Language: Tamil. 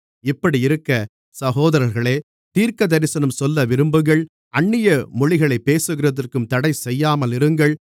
இப்படியிருக்க சகோதரர்களே தீர்க்கதரிசனம் சொல்ல விரும்புங்கள் அந்நிய மொழிகளைப் பேசுகிறதற்கும் தடைசெய்யாமலிருங்கள்